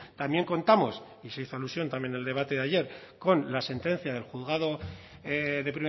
también contamos y se hizo alusión también en el debate de ayer con la sentencia del juzgado de